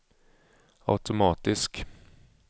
automatisk